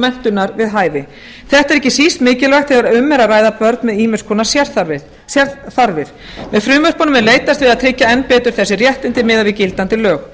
menntunar við hæfi þetta er ekki síst mikilvægt þegar um er að ræða börn með ýmiss konar sérþarfir með frumvörpunum er leitast við að tryggja enn betur þessi réttindi miðað við gildandi lög